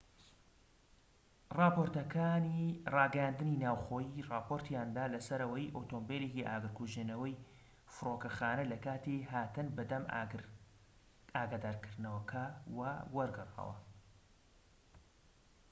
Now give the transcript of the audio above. راپۆرتەکانی راگەیاندنی ناوخۆیی راپۆرتیان دا لەسەر ئەوەی ئۆتۆمبیلێکی ئاگرکوژێنەوەی فرۆکەخانە لەکاتی هاتن بە دەم ئاگادارکردنەوەکەوە وەرگەڕاوە